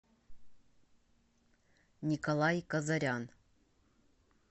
николай казарян